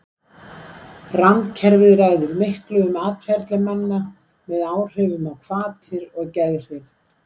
Randkerfið ræður miklu um atferli manna með áhrifum á hvatir og geðhrif.